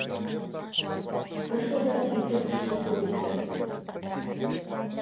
бір жылда екі үш рет көбейтеді